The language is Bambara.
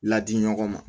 Ladi ɲɔgɔn ma